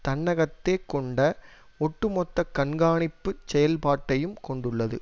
தன்னகத்தே கொண்ட ஒட்டுமொத்த கண்காணிப்பு செயல்பாட்டையும் கொண்டுள்ளது